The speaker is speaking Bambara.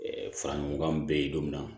fara ɲɔgɔn kan bɛɛ ye don min na